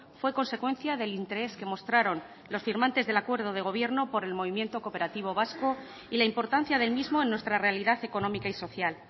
fue consecuencia del interés que mostraron los firmantes del acuerdo de gobierno por el movimiento cooperativo vasco y la importancia del mismo en nuestra realidad económica y social